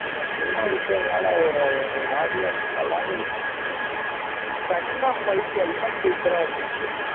இதுல பேசிட்டே இருக்கிறதுனால ஒரு ஒரு மாதிரி இருந்துச்சு நல்லாவே இல்ல second half fight எல்லாம் super ஆ இருந்துச்சு